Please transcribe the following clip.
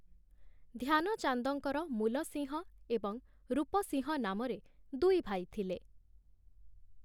ଧ୍ୟାନଚାନ୍ଦଙ୍କର ମୂଲ ସିଂହ ଏବଂ ରୂପ ସିଂହ ନାମରେ ଦୁଇ ଭାଇ ଥିଲେ ।